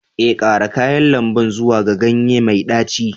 Ee, ƙara kayan lambu zuwa ga ganye mai ɗaci